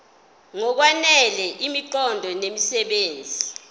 ngokwanele imiqondo nemisebenzi